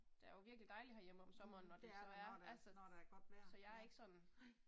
Mh det er der når der når der er godt vejr, ja, nej